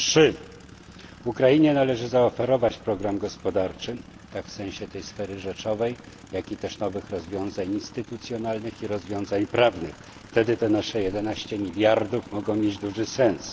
Trzy Ukrainie należy zaoferować program gospodarczy, zarówno w sensie tej sfery rzeczowej, jak i też nowych rozwiązań instytucjonalnych i rozwiązań prawnych wtedy te nasze 11 miliardów może mieć duży sens.